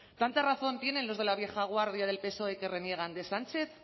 tanta razón tienen los de la vieja guardia del psoe que reniegan de sánchez